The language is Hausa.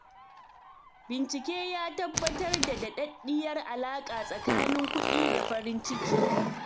Bincike ya tabbatar da daɗaɗɗiyar alaƙa tsakanin kuɗi da farin ciki.